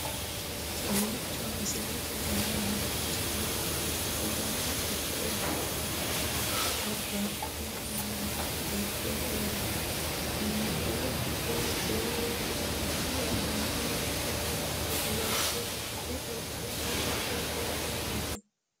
kowiicho misilete leellanorichi maati ? dana hiittooho ?abadhhenni ikko uulla noohu kuulu kuni maa lawannoho? kuni baychu maati quchumu giddo noohu maati